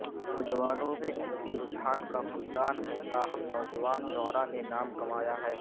نوجوانوں میں ادبی رجحان کا فقدان ہے تاہم نوجوان شعرائ نے نام کمایا ہے